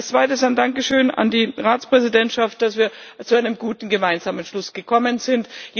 Als Zweites ein Dankeschön an die Ratspräsidentschaft, dass wir zu einem guten gemeinsamen Schluss gekommen sind.